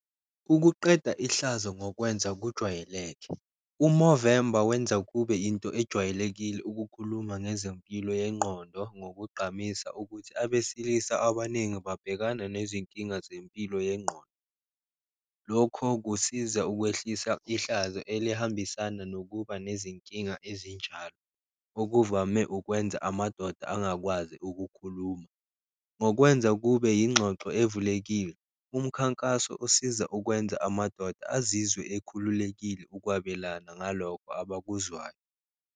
Ukuqeda ihlazo ngokwenza kujwayeleke, u-Movember wenza kube into ejwayelekile ukukhuluma ngezempilo yengqondo, ngokugqamisa ukuthi abesilisa abaningi babhekana nezinkinga zempilo yengqondo. Lokho kusiza ukwehlisa ihlazo elihambisana nokuba nezinkinga ezinjalo, okuvame ukwenza amadoda angakwazi ukukhuluma. Ngokwenza kube yingxoxo evulekile umkhankaso osiza ukwenza amadoda azizwe ekhululekile ukwabelana ngalokho abakuzwayo.